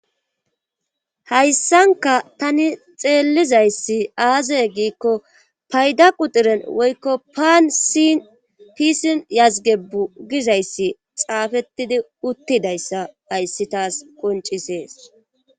Hayssanka tani xeellizayssi aazey giikko payda qudiren woykko paan sin pisin yazge bugizayssi xaafettidi uttidayssa ayssi taas qoncisees.